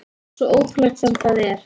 Svo ótrúlegt sem það er.